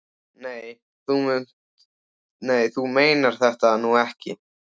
Nei, þú meinar þetta nú ekki.